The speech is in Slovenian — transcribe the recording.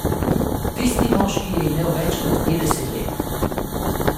Tisti moški je imel več kot petdeset let.